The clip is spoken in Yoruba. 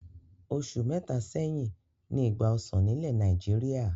Oṣù mẹ́ta sẹ́yìn ni ìgbà ọsàn nílẹ̀ Nàìjíríà.